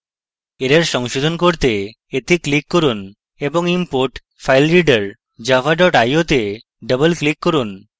error সংশোধন করতে এতে click করুন এবং import filereader java dot io to double click করুন